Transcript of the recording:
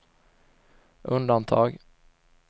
undantag